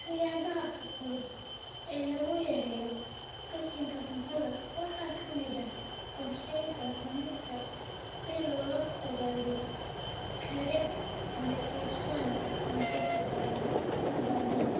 Siyaabaha fudud ee lagu yareeyo qashinka cuntada waxaa ka mid ah qorsheynta cunista si looga fogaado karin ama iibsan cunto ka badan baahida,